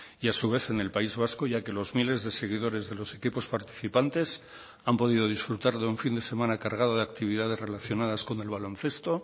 y a su vez en el país vasco ya que los miles de seguidores de los equipos participantes han podido disfrutar de un fin de semana cargado de actividades relacionadas con el baloncesto